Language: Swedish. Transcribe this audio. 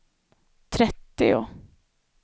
trettio